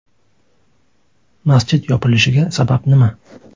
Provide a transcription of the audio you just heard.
Masjid yopilishiga sabab nima?